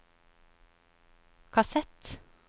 kassett